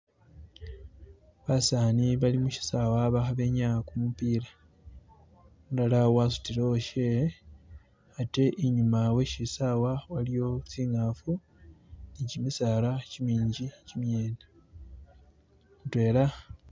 Baseza balimushisaawe balikwinyaya gumupiira. Umulala wasudile uwashewe ate inyuma weshisaawe waliyo zinkafu ni gimisaala gimingi zimyene. Mudwela...